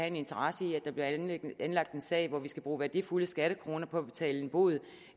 en interesse i at der bliver anlagt en sag hvor vi skal bruge værdifulde skattekroner på at betale en bod